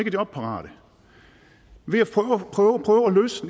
er jobparate ved at